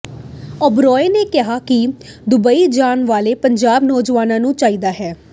ਓਬਰਾਏ ਨੇ ਕਿਹਾ ਕਿ ਦੁਬਈ ਜਾਣ ਵਾਲੇ ਪੰਜਾਬੀ ਨੌਜਵਾਨਾਂ ਨੂੰ ਚਾਹੀਦਾ ਹੈ